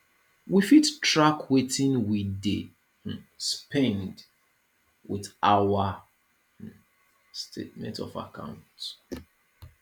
we fit track wetin we dey um spend with our um statement of account